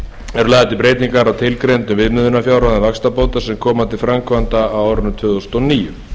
eru lagðar til breytingar á tilgreindum viðmiðunarfjárhæðum vaxtabóta sem koma til framkvæmda á árinu tvö þúsund og níu